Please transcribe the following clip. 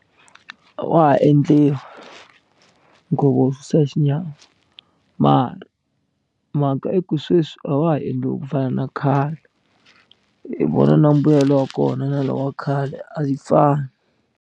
Wa ha endliwa nkhuvo wo susa xinyama mara mhaka i ku sweswi a wa ha endliwi ku fana na khale hi vona na mbuyelo wa kona na luwa wa khale a yi fani.